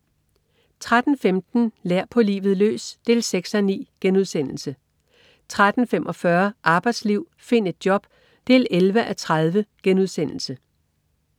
13.15 Lær. På livet løs 6:9* 13.45 Arbejdsliv. Find et job! 11:30*